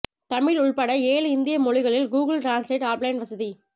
தமிழ் உள்பட ஏழு இந்திய மொழிகளில் கூகுள் டிரான்ஸ்லேட் ஆஃப்லைன் வசதி